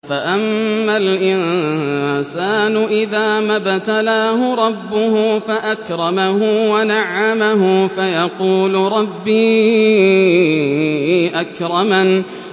فَأَمَّا الْإِنسَانُ إِذَا مَا ابْتَلَاهُ رَبُّهُ فَأَكْرَمَهُ وَنَعَّمَهُ فَيَقُولُ رَبِّي أَكْرَمَنِ